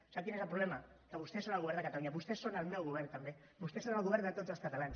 sap quin és el problema que vostès són el govern de catalunya vostès són el meu govern també vostès són el govern de tots els catalans